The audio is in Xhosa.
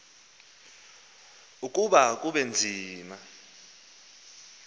ukuba kube nzima